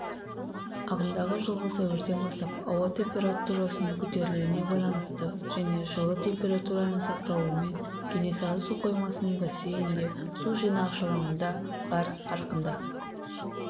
ағымдағы жылғы сәуірден бастап ауа температурасының көтерілуіне байланысты және жылы температураның сақталуымен кенесары су қоймасының бассейнінде су жинағыш алаңында қар қарқынды